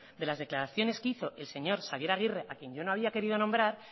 de las declaraciones que hizo el señor xabier agirre a quién yo no había querido nombrar